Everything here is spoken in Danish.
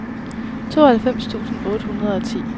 tooghalvfems tusind otte hundrede og ti